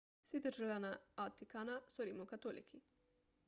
vsi državljani vatikana so rimokatoliki